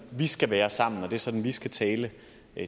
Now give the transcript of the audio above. de skal være sammen at det er sådan de skal tale